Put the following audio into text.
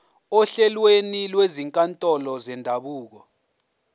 ohlelweni lwezinkantolo zendabuko